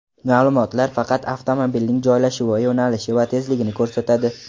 Ma’lumotlar faqat avtomobilning joylashuvi, yo‘nalishi va tezligini ko‘rsatadi.